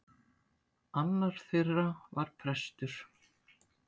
Annar þeirra var prestur.